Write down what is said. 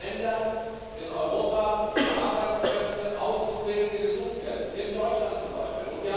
Es gibt Länder in Europa, wo Arbeitskräfte und Auszubildende gesucht werden in Deutschland zum Beispiel.